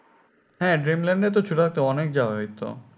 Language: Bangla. হ্যাঁ dreamland এ তো অনেক যাওয়া হয়তো